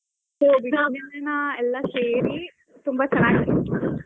ಎಲ್ಲಾ ಸೇರಿ ತುಂಬಾ ಚೆನ್ನಾಗಿತ್ತು.